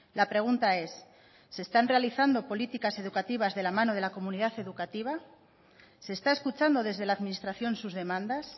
la pregunta es se están realizando políticas educativas de la mano de la comunidad educativa se está escuchando desde la administración sus demandas